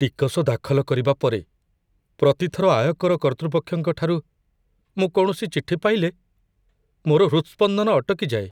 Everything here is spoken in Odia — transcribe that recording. ଟିକସ ଦାଖଲ କରିବା ପରେ, ପ୍ରତି ଥର ଆୟକର କର୍ତ୍ତୃପକ୍ଷଙ୍କ ଠାରୁ ମୁଁ କୌଣସି ଚିଠି ପାଇଲେ ମୋର ହୃତସ୍ପନ୍ଦନ ଅଟକି ଯାଏ।